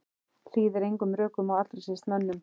Hlýðir engum rökum og allra síst mönnum.